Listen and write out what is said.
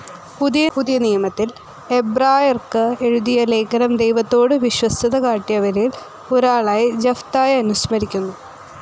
പുതിയ നിയമത്തിൽ എബ്രായർക്ക് എഴുതിയ ലേഖനം ദൈവത്തോടു വിശ്വസ്തതകാട്ടിയവരിൽ ഒരാളായി ജഫ്‌തായെ അനുസ്മരിക്കുന്നു.